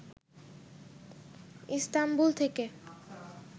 Istanbul থেকে